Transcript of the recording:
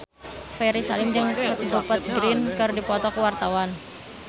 Ferry Salim jeung Rupert Grin keur dipoto ku wartawan